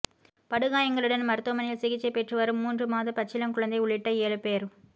படுகாயங்களுடன் மருத்துவமனையில் சிகிச்சைப் பெற்றுவரும் மூன்று மாத பச்சிளங் குழந்தை உள்ளிட்ட ஏழு பேர்